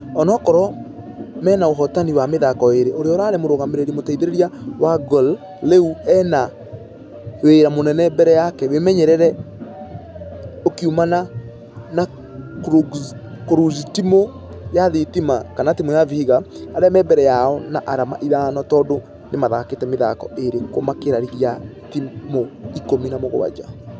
Ona kũrwo mĩnaũhotani wa mĩthako ĩrĩ ũrĩa ũrarĩ mũrũgamĩrĩri mũteithereria wa gor rĩu ena wĩra mũnene mbere yake wĩmenyereri ũkiumana na kũrũgztimũ ya thitima kanatimũ ya vihiga . Arĩa me mbere yao na arama ithano tũndũ nĩmathakĩte mĩthako ĩrĩ kũmakĩra rigi ya timũ ikũmi na mũgwaja.